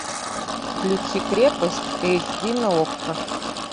включи крепость эйч ди на окко